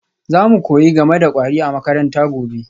Za mu koyi game da kwari a makaranta gobe